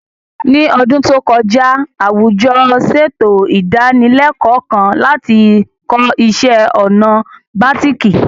Ní ọdún tó kọjá, àwùjọ ṣètò ìdánilẹ́kọ̀ọ́ kan láti kọ́ iṣẹ́ ọnà bàtíìkì